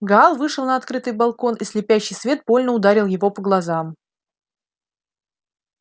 гаал вышел на открытый балкон и слепящий свет больно ударил его по глазам